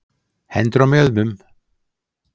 Hendur á mjöðmum.